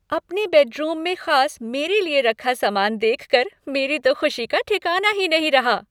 अपने बेडरूम में खास मेरे लिए रखा सामान देखकर मेरी तो खुशी का ठिकाना ही नहीं रहा।